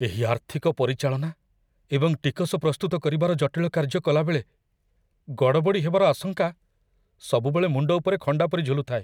ଏହି ଆର୍ଥିକ ପରିଚାଳନା ଏବଂ ଟିକସ ପ୍ରସ୍ତୁତ କରିବାର ଜଟିଳ କାର୍ଯ୍ୟ କଲାବେଳେ ଗଡ଼ବଡ଼ି ହେବାର ଆଶଙ୍କା ସବୁବେଳେ ମୁଣ୍ଡ ଉପରେ ଖଣ୍ଡା ପରି ଝୁଲୁଥାଏ।